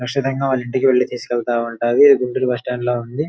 కచ్చితంగా వాళ్ళ ఇంటికి వెళ్లి తీసుకెళ్తా ఉంటాది గుంటూరు బస్సు స్టాండ్ లా ఉంది.